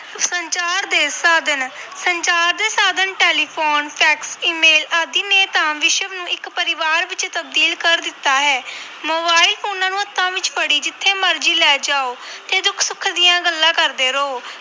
ਸੰਚਾਰ ਦੇ ਸਾਧਨ-ਸੰਚਾਰ ਦੇ ਸਾਧਨ ਟੈਲੀਫ਼ੋਨ ਫੈਕਸ email ਆਦਿ ਨੇ ਤਾਂ ਵਿਸ਼ਵ ਨੂੰ ਇੱਕ ਪਰਿਵਾਰ ਵਿੱਚ ਤਬਦੀਲ ਕਰ ਦਿੱਤਾ ਹੈ ਮੋਬਾਇਲ ਫ਼ੋਨਾਂ ਨੂੰ ਹੱਥਾਂ ਵਿੱਚ ਫੜੀ ਜਿੱਥੇ ਮਰਜ਼ੀ ਲੈ ਜਾਓ ਤੇ ਦੁੱਖ ਸੁੱਖ ਦੀਆਂ ਗੱਲਾਂ ਕਰਦੇ ਰਹੋ।